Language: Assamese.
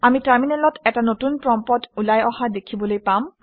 আমি টাৰমিনেলত এটা নতুন প্ৰম্পট্ ওলাই অহা দেখিবলৈ পাম